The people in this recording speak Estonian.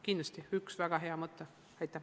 Kindlasti andsite ühe väga hea mõtte!